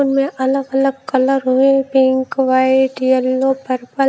उनमें अलग अलग कलर हुए पिंक वाइट येलो पर्पल ।